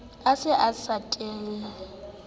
a se a sa tlwaela